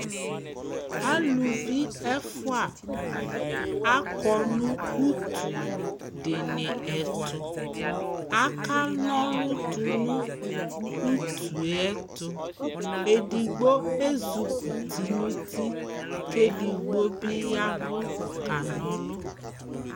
Aluvi ɛfua akɔ nʋ utu dɩnɩ ɛtʋ, akana ɔlʋ tʋnʋ utu yɛ tʋ Edigbo ezik'uti n'uti k'edigbo bɩ yavʋ kana ɔlʋ